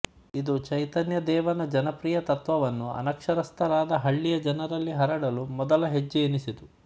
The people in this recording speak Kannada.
ಇದು ಚೈತನ್ಯದೇವನ ಜನಪ್ರಿಯ ತತ್ತ್ವವನ್ನು ಅನಕ್ಷರಸ್ಥರಾದ ಹಳ್ಳಿಯ ಜನರಲ್ಲಿ ಹರಡಲು ಮೊದಲ ಹೆಜ್ಜೆಯೆನಿಸಿತು